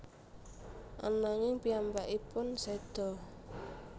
Ananging piyambakipun seda